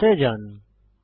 ফন্সে যান